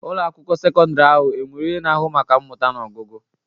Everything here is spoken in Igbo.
Ụlọ akwụkwọ sekọndrị ahụ enwere onye na-ahụ maka mmụta na ọgụgụ?